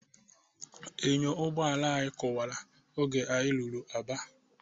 Enyo ụgbọala anyị kụwala oge anyị ruru Aba.